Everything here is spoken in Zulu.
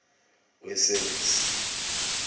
wesevisi